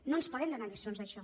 no ens poden donar lliçons d’això